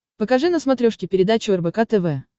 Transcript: покажи на смотрешке передачу рбк тв